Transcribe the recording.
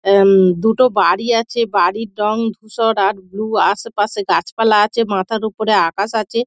এ-উম দুটো বাড়ি আছে বাড়ির রং ধূসর আর ব্লু । আশেপাশে গাছপালা আছে মাথার ওপরে আকাশ আছে।